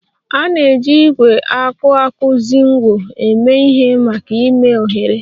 A na-eji ígwè akuakuzinwo eme ihe maka ime oghere